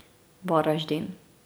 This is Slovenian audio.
Varaždin.